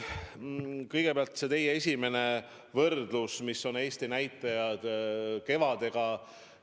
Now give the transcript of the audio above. Aga kõigepealt see teie esimene võrdlus, millised on Eesti näitajad võrreldes kevadega.